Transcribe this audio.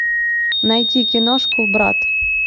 найти киношку брат